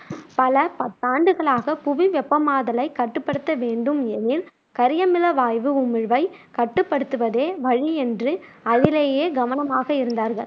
பல பத்தாண்டுகளாக புவி வெப்பமாதலை கட்டுப்படுத்த வேண்டும் எனில் கரியமில வாயு உமிழ்வை கட்டுப்படுத்துவதே வழி என்று அதிலேயே கவனமாக இருந்தார்கள்.